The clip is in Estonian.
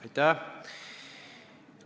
Aitäh!